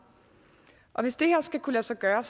hvis det her skal kunne lade sig gøre